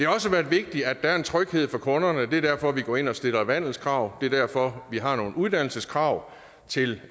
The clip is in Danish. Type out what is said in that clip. også været vigtigt at der er en tryghed for kunderne det er derfor vi går ind og stiller vandelskrav det er derfor vi har nogle uddannelseskrav til